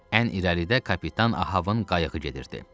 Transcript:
Ən irəlidə kapitan Ahəvin qayığı gedirdi.